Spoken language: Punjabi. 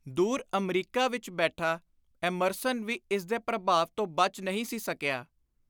ਦੁਰ ਅਮਰੀਕਾ ਵਿਚ ਬੈਠਾ ਐਮਰਸਨ ਵੀ ਇਸਦੇ ਪ੍ਰਭਾਵ ਤੋਂ ਬਚ ਨਹੀਂ ਸੀ ਸਕਿਆ।